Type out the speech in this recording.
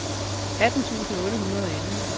atten tusind otte hundrede og elleve